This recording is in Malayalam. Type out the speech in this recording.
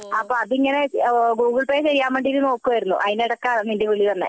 അത് ഞാൻ ഗൂഗിൾ പേ ചെയ്യാൻ വേണ്ടി നോക്കായിരുന്നു അതിനിടയ്ക്കാണ് നിന്റെ വിളി വന്നത്